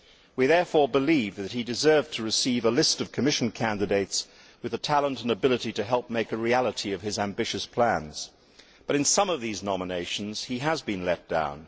We therefore believe that he deserved to receive a list of Commission candidates with the talent and ability to help make a reality of his ambitious plans. But in some of these nominations he has been let down.